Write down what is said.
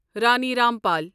Rani Rampal